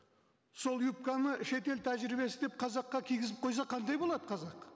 сол юбканы шетел тәжірибесі деп қазаққа кигізіп қойса қандай болады қазақ